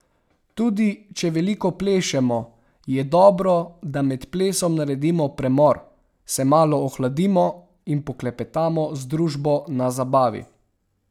Tudi če veliko plešemo, je dobro, da med plesom naredimo premor, se malo ohladimo in poklepetamo z družbo na zabavi.